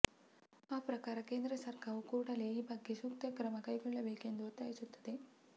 ಆ ಪ್ರಕಾರ ಕೇಂದ್ರ ಸರ್ಕಾರವು ಕೂಡಲೇ ಈ ಬಗ್ಗೆ ಸೂಕ್ತ ಕ್ರಮ ಕೈಗೊಳ್ಳಬೇಕೆಂದು ಒತ್ತಾಯಿಸುತ್ತೇನೆ